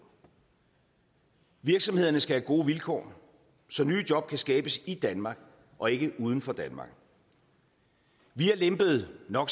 virksomhederne skal have gode vilkår så nye job kan skabes i danmark og ikke uden for danmark vi har lempet no